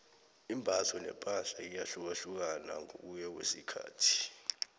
imbatho nepahla iyahlukahlukana ngokuya ngokwesikhathi